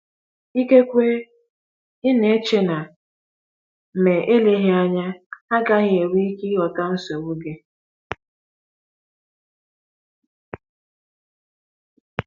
Ikekwe ị na - eche na, ma eleghị anya, ha agaghị enwe ike ịghọta nsogbu gị.